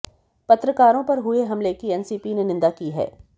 पत्रकारों पर हुए हमले की एनसीपी ने निंदा की है